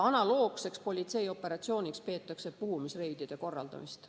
Analoogseks politseioperatsiooniks peetakse puhumisreidide korraldamist.